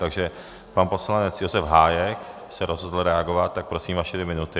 Takže pan poslanec Josef Hájek se rozhodl reagovat, tak prosím, vaše dvě minuty.